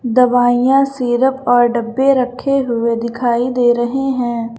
दवाइयां सिरप और डब्बे रखे हुए दिखाई दे रहे हैं।